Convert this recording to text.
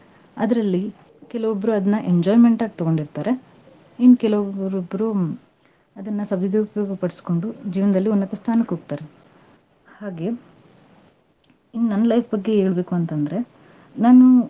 ಅದರಲ್ಲಿ ಕೆಲವೊಬ್ರು ಅದ್ನಾ enjoyment ಆಗಿ ತಗೊಂಡಿರ್ತಾರೆ. ಇನ್ ಕೆಲವೊಬ್ರು, ಅದ್ನ ಸವಿದೋಪಯೋಗ ಪಡಿಸಿಕೊಂಡು ಜೀವ್ನದಲ್ಲಿ ಉನ್ನತ ಸ್ಥಾನಕ್ ಹೋಗ್ತಾರ. ಹಾಗೆ, ಇನ್ನು ನನ್ನ life ಬಗ್ಗೆ ಹೇಳ್ಬೇಕು ಅಂತಂದ್ರೆ, ನಾನು.